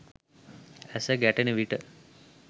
ඇස ගැටෙන විට